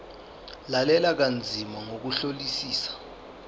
lalela kanzima ngokuhlolisisa